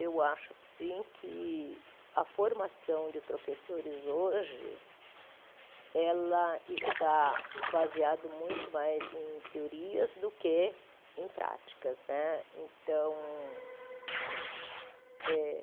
Eu acho sim que a formação de professores hoje ela está baseada muito mais em teorias do que em práticas né então eh.